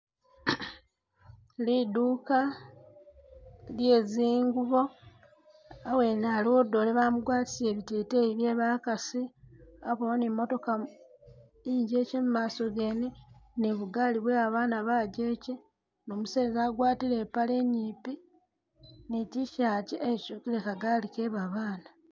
Liduuka lye zingubo hawene haliwo dole bamugwatisile biteteyi bye bakasi habawo ni mootoka ingyekye mumaso gene ni bugali bwebana bajekye ni umuseza agwatile ipaale inyipi ni T-shirt etyukile kagaali kebabana.